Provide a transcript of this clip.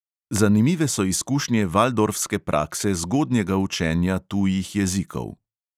Zanimive so izkušnje valdorfske prakse zgodnjega učenja tujih jezikov.